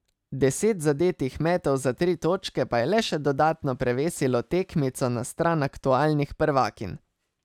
Deset zadetih metov za tri točke pa je le še dodatno prevesilo tekmico na stran aktualnih prvakinj.